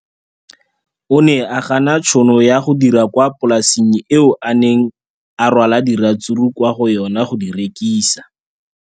O ne a gana tšhono ya go dira kwa polaseng eo a neng rwala diratsuru kwa go yona go di rekisa.